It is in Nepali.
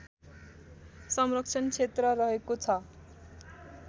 संरक्षण क्षेत्र रहेको छ